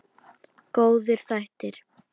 Góðir þættir.